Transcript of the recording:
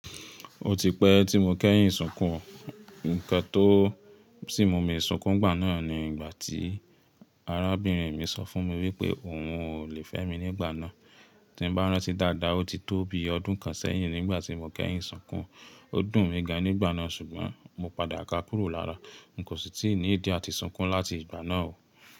Ó ti pẹ́ tí mo kẹ́yìn sunkùn. Nǹkan tó sì mú mi sunkún nígbà náà ni ìgbà tí arábìnrin mi sọ fún mi wípé òun ò lè fẹ́ mi nígbà náà. Tí mo bá rántí dáadáa, ó ti tó bi ọdún kan sẹ́yìn nígbà tí mo kẹ́yìn sunkún. Ó dùn mí ga nígbà náà ṣùgbọ́n mo padà ka kúrò lára. N kò sì tí ì ní ìdí àti sunkún láti ìgbà náà o.